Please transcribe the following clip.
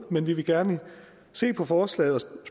men vi vil gerne se på forslaget og